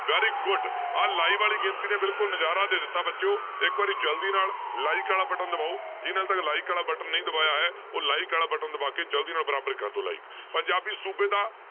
Very good ਆਹ live ਵਾਲੀ ਗਿਣਤੀ ਨੇ ਬਿਲਕੁਲ ਨਜ਼ਾਰਾ ਦੇ ਦਿੱਤਾ ਬੱਚਿਓ ਇੱਕ ਵਾਰੀ ਜ਼ਲਦੀ ਨਾਲ like ਵਾਲਾ button ਦਬਾਓ ਜਿਹਨੇ ਹਾਲੇ like ਵਾਲਾ button ਨਹੀਂ ਦਬਾਇਆ ਹੈ, ਉਹ like ਵਾਲਾ button ਦਬਾ ਕੇ ਜ਼ਲਦੀ ਨਾਲ ਬਰਾਬਰ ਕਰ ਦਓ like ਪੰਜਾਬੀ ਸੂਬੇ ਦਾ